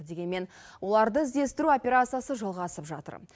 дегенмен оларды іздестіру операциясы жалғасып жатыр